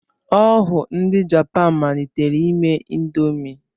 Ọ wụ ndị Japan malitere ime ịndomii.